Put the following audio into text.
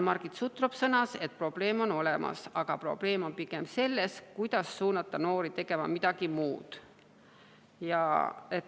Margit Sutrop sõnas, et probleem on olemas, aga probleem on pigem selles, kuidas suunata noori tegema midagi muud.